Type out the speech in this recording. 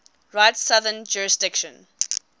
rite's southern jurisdiction